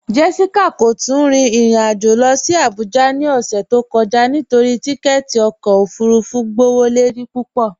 Jessica kò tún rìn irin ajó lọ sí Àbújà ni ọṣẹ̀ tó kọja nítorí tìkẹ̀tì ọkọ ofúrúfú gbọwọ́lọ́rí púpọ.